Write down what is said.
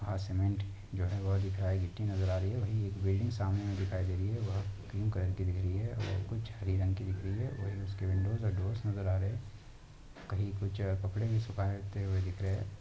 वहाँ सीमेंट जो वो दिख रहा है गिट्टी नजर आ रही है वही एक बिल्डिंग सामने में दिखाई दे रही है वह क्रीम कलर की दिख रही है और कुछ हरी रंग की दिख रही है वहीं उसकी विन्डोस और डोर्स नजर आ रहे है कही कुछ कपड़े भी सुखायते हुए दिख रहे हैं।